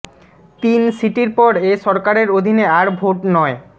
তিন সিটির পর এ সরকারের অধীনে আর ভোট নয়